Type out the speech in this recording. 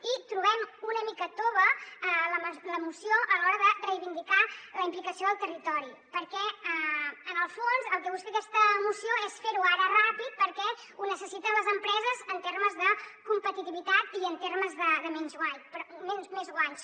i trobem una mica tova la moció a l’hora de reivindicar la implicació del territori perquè en el fons el que busca aquesta moció és fer ho ara ràpid perquè ho necessiten les empreses en termes de competitivitat i en termes de més guanys